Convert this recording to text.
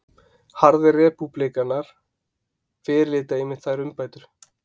Harðir repúblikanar fyrirlíta einmitt þær umbætur